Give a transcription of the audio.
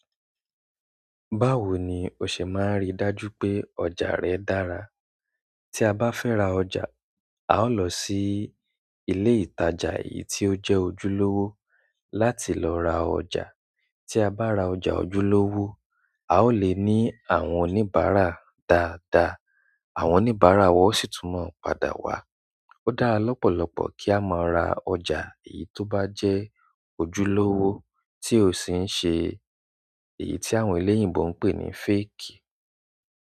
Báwo ni o se maa n ri dájú pe ọjà re dára tí a bá fẹ́ ra ọjà, a ó lọ sí ilé ìtajà èyí tó jẹ́ ojúlówó láti lọ ra ọjà. Tí a bá ra ọjà ojúlówó, a ó lè ní àwọn oníbàárà dáadáa. Àwọn oníbàárà wa ó sì tún mọ padà wá. Ó dára lọ́pọ̀lọpọ̀ kí a máa ra ọjà èyí tó bá jẹ́ ojúlówó tí ò sí n ṣe èyí tí àwọn eléyìnbo ń pè ní fake.